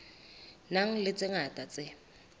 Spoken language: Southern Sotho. nang le tse ngata tse